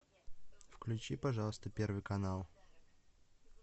включи пожалуйста первый канал